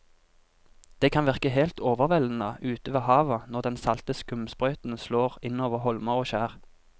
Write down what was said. Det kan virke helt overveldende ute ved havet når den salte skumsprøyten slår innover holmer og skjær.